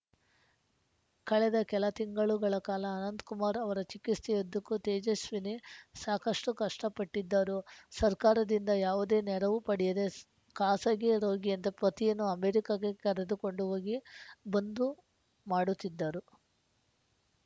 ಕಳೆದ ಕೆಲ ತಿಂಗಳುಗಳ ಕಾಲ ಅನಂತಕುಮಾರ್‌ ಅವರ ಚಿಕಿತ್ಸೆಯುದ್ದಕ್ಕೂ ತೇಜಸ್ವಿನಿ ಸಾಕಷ್ಟುಕಷ್ಟಪಟ್ಟಿದ್ದರು ಸರ್ಕಾರದಿಂದ ಯಾವುದೇ ನೆರವು ಪಡೆಯದೆ ಖಾಸಗಿ ರೋಗಿಯಂತೆ ಪತಿಯನ್ನು ಅಮೆರಿಕಕ್ಕೆ ಕರೆದುಕೊಂಡು ಹೋಗಿಬಂದು ಮಾಡುತ್ತಿದ್ದರು